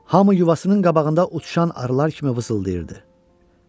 Hamı yuvasının qabağında uçuşan arılar kimi vızıldayırdı.